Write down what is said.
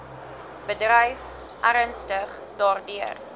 bedryf ernstig daardeur